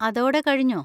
അതോടെ കഴിഞ്ഞോ?